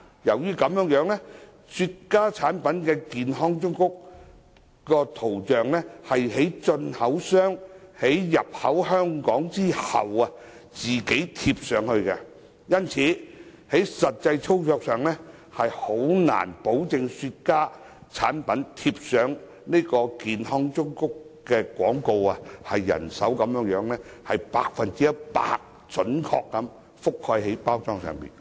由於雪茄產品的健康忠告圖像，是進口商在產品進口香港後自行貼上，因此在實際操作上，難以保證用人手貼上的健康忠告圖像能準確地覆蓋包裝背面的 100%。